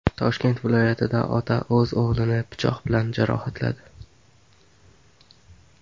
Toshkent viloyatida ota o‘z o‘g‘lini pichoq bilan jarohatladi.